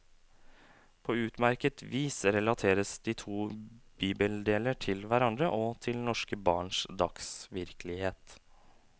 På utmerket vis relateres de to bibeldeler til hverandre og til norske barns dagsvirkelighet.